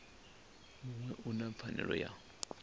muṅwe u na pfanelo ya